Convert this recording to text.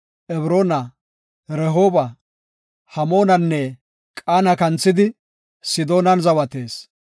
Ebroona, Rehooba, Hamoonanne Qaana kanthidi, Sidoonan zawatees.